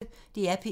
DR P1